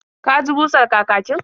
Ka ji busar kakakin?